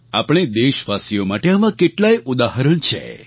આપણે દેશવાસીઓ માટે આવા કેટલાય ઉદાહરણ છે